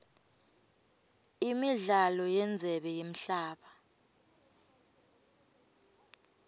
imidlalo yendzebe yemhlaba